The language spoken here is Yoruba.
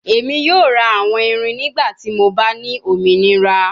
Emi yoo ra awọn irin nigbati mo ba ni ominira